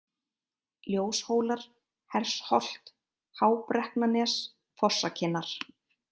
Ljóshólar, Hersholt, Hábrekknanes, Fossakinnar